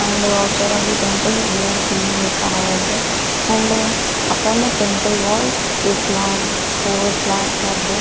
and outside of the temple we are seeing a car also and upon the tenple walls four flags are there.